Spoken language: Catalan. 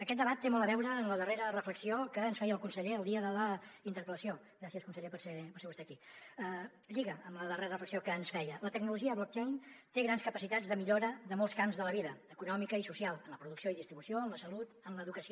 aquest debat té molt a veure amb la darrera reflexió que ens feia el conseller el dia de la interpel·lació gràcies conseller per ser vostè aquí lliga amb la darrera reflexió que ens feia la tecnologia blockchain té grans capacitats de millora de molts camps de la vida econòmica i social en la producció i distribució en la salut en l’educació